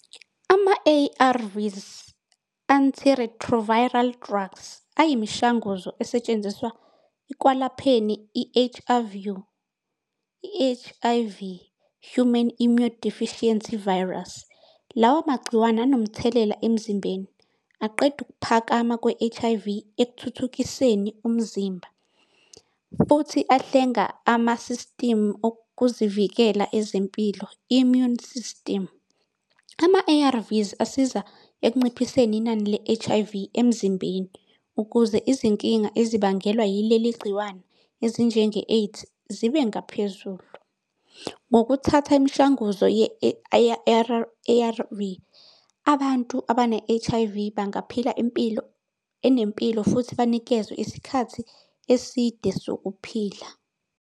Ama-A_R_Vs Antiretroviral Drugs ayimishanguzo esetshenziswa ekwelapheni I-H_I_V Humane Immunodeficiency Virus. Lawo magciwane anomthelela emzimbeni aqeda ukuphakama kwe-H_I_V ekuthuthukiseni umzimba futhi ahlenga ama-system okuzivikela ezempilo immune system. Ama-A_R_Vs asiza ekunciphiseni inani le-H_I_V emzimbeni ukuze izinkinga ezibangelwa yileli gciwane ezinjenge-AIDS zibe ngaphezulu. Ngokuthatha imishanguzo A_R_V. Abantu abane-H_I_V bangaphila impilo enempilo futhi banikezwe isikhathi eside sokuphila.